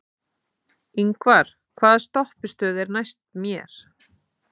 Yngvar, hvaða stoppistöð er næst mér?